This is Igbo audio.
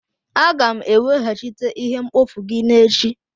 Aga'm eweghachite ihe mkpofu gị n'echi